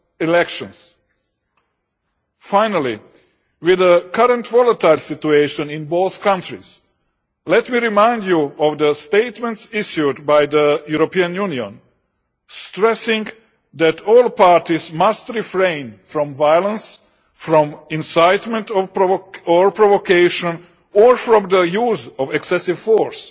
elections. Finally, with the current volatile situation in both countries, let me remind you of the statements issued by the European Union, stressing that all parties must refrain from violence, from incitement or provocation, or from the use of excessive force.